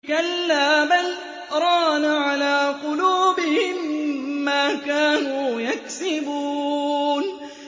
كَلَّا ۖ بَلْ ۜ رَانَ عَلَىٰ قُلُوبِهِم مَّا كَانُوا يَكْسِبُونَ